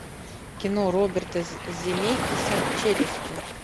кино роберта земекиса челюсти